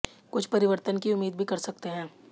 कुछ परिवर्तन की उम्मीद भी कर सकते हैं